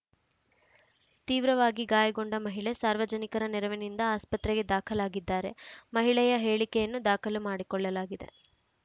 ತೀವ್ರವಾಗಿ ಗಾಯಗೊಂಡ ಮಹಿಳೆ ಸಾರ್ವಜನಿಕರ ನೆರವಿನಿಂದ ಆಸ್ಪತ್ರೆಗೆ ದಾಖಲಾಗಿದ್ದಾರೆ ಮಹಿಳೆಯ ಹೇಳಿಕೆಯನ್ನು ದಾಖಲು ಮಾಡಿಕೊಳ್ಳಲಾಗಿದೆ